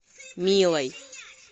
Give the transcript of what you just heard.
милой